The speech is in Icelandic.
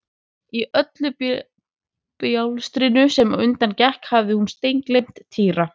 Í öllu bjástrinu sem á undan gekk hafði hún steingleymt Týra.